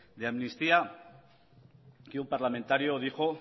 de amnistía que un parlamentario dijo